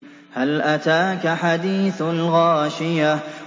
هَلْ أَتَاكَ حَدِيثُ الْغَاشِيَةِ